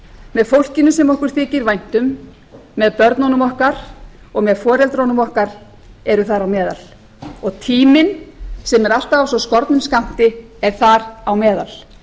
með fólkinu sem okkur þykir vænt um með börnunum okkar og með foreldrum okkar eru þar á meðal og tíminn sem er alltaf af svo skornum skammti er þar á meðal